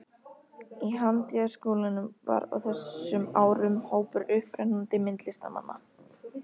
Í Handíðaskólanum var á þessum árum hópur upprennandi myndlistarmanna.